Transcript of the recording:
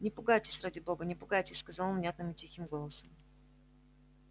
не пугайтесь ради бога не пугайтесь сказал он внятным и тихим голосом